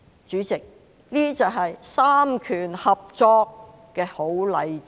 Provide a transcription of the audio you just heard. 主席，這些就是三權合作的好例子。